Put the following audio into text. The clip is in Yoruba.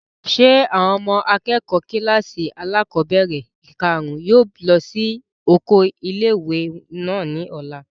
Ṣé àwọn ọmọ akẹ́kọ̀ọ́ kílàsì alákọ́bẹ̀rẹ̀ kàrún yóò lọ sí oko ilé-ìwé náà ní ọ̀la?